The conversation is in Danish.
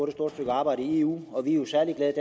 et stort stykke arbejde i eu og vi er jo særlig glade i